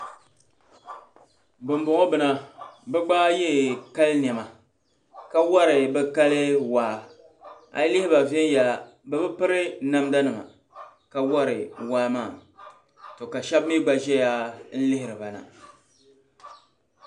Ban bɔŋɔ bina bi gba ye kali nema. ka wari bi kali waa. ayi lihiba'. venyala bibi piri namda nima ka wari waa maa to ka shabi mi gba zɛya. n lihiribana.